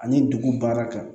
Ani dugu baara kan